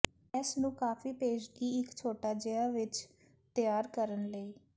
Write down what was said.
ਇਸ ਨੂੰ ਕਾਫੀ ਪੇਸ਼ਗੀ ਇੱਕ ਛੋਟਾ ਜਿਹਾ ਵਿੱਚ ਤਿਆਰ ਕਰਨ ਲਈ